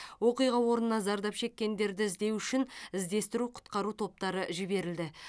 оқиға орнына зардап шеккендерді іздеу үшін іздестіру құтқару топтары жіберілді